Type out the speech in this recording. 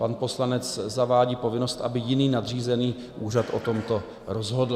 Pan poslanec zavádí povinnost, aby jiný nadřízený úřad o tomto rozhodl.